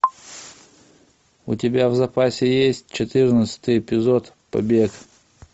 у тебя в запасе есть четырнадцатый эпизод побег